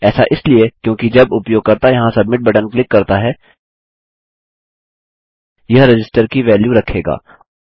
ऐसा इसलिए क्योंकि जब उपयोगकर्ता यहाँ सबमिट बटन क्लिक करता है यह रजिस्टर की वैल्यू रखेगा